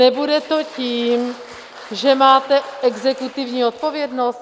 Nebude to tím, že máte exekutivní odpovědnost?